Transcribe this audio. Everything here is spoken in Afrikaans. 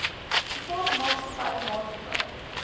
privaat maatskappy maatskappy